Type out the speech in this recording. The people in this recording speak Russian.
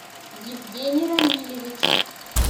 евгений рамилевич